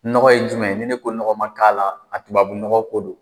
Nɔgɔ ye jumɛn ye, ni ne ko nɔgɔ ma k'a la, a tubabu nɔgɔ ko don.